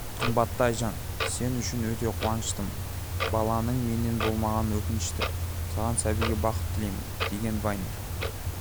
қымбатты айжан сен үшін өте қуаныштымын баланың менен болмағаны өкінішті саған сәбиге бақыт тілеймін деген вайнер